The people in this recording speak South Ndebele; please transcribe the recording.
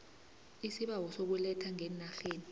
isibawo sokuletha ngeenarheni